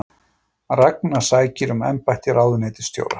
Ragna sækir um embætti ráðuneytisstjóra